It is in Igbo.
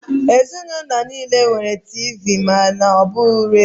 Ezinụlọ nile nwere Tiivii ma ọ bu redio.